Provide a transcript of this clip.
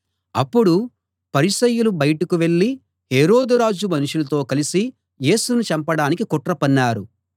అప్పుడు పరిసయ్యులు బయటకు వెళ్ళి హేరోదు రాజు మనుషులతో కలిసి యేసుని చంపడానికి కుట్ర పన్నారు